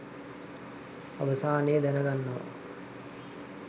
අවසානයේ දැනගන්නවා